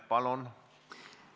Palun!